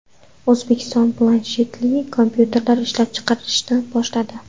O‘zbekiston planshetli kompyuterlar ishlab chiqarishni boshladi.